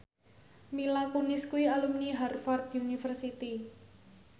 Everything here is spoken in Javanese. Mila Kunis kuwi alumni Harvard university